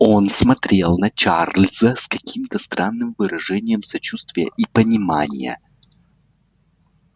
он смотрел на чарльза с каким-то странным выражением сочувствия и понимания